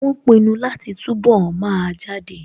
Wọ́n pinu láti túnbọ̀ máa jáde